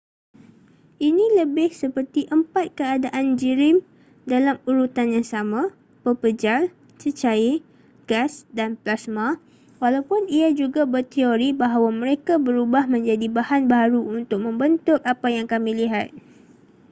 ini lebih seperti empat keadaan jirim dalam urutan yang sama: pepejal cecair gas dan plasma walaupun ia juga berteori bahawa mereka berubah menjadi bahan baharu untuk membentuk apa yang kami lihat